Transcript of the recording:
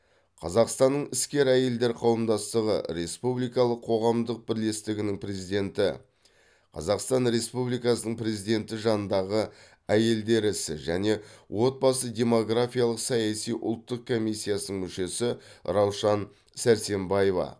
қазақстанның іскер әйелдер қауымдастығы республикалық қоғамдық бірлестігінің президенті қазақстан республикасы президенті жанындағы әйелдер ісі және отбасы демографиялық саяси ұлттық комиссиясының мүшесі раушан сәрсембаева